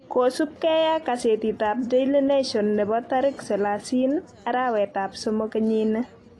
kosub gee ak kasetit ab daily nation nebo tarik selasinin arawet ab somok kenyit ni